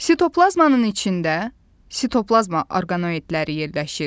Sitoplazmanın içində sitoplazma orqanoidləri yerləşir.